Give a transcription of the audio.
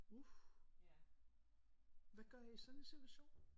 Uh! Hvad gør I i sådan en situation?